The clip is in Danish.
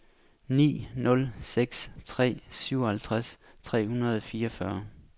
ni nul seks tre syvoghalvtreds tre hundrede og fireogfyrre